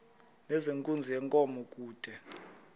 nezenkunzi yenkomo kude